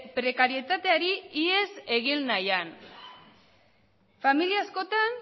prekarietateari ihes egin nahian familia askotan